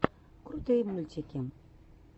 крутые мультики